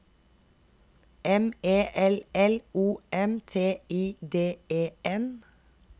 M E L L O M T I D E N